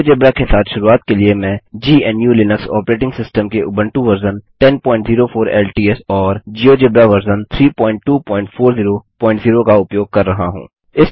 GeoGebra के साथ शुरूआत के लिए मैं जीएनयूलिनक्स ऑपरेटिंग सिस्टम के उबंटू वर्जन 1004 एलटीएस और जियोजेब्रा वर्जन 32400 का उपयोग कर रहा हूँ